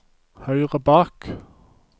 høyre bak